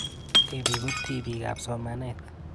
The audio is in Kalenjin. Tipik ko tipik ab somanet